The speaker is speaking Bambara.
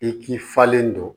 I k'i falen don